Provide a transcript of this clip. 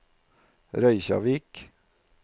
Reykjavík